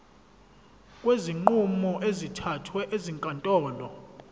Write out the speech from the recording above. kwezinqumo ezithathwe ezinkantolo